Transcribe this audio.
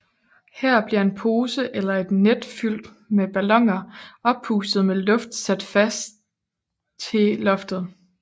Her bliver en pose eller et net fyld med balloner oppustet med luft sat fat til loftet